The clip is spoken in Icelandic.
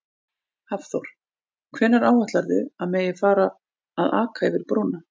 Hafþór: Hvenær áætlarðu að megi að fara að aka yfir brúna?